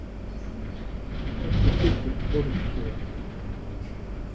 En hvert er hlutverk forystusauðanna?